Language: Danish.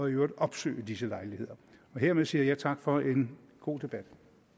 øvrigt opsøge disse lejligheder hermed siger jeg tak for en god debat